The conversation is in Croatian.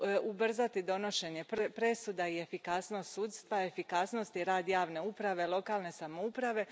ubrzati donošenje presuda i efikasnost sudstva, efikasnost i rad javne uprave i lokalne samouprave.